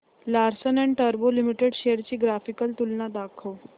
Larsen and टुर्बो limited shares ची graphical तुलना दाखव